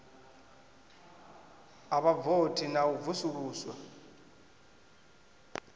ha vhavothi na u vusuluswa